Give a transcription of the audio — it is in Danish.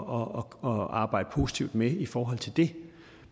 og arbejde positivt med i forhold til det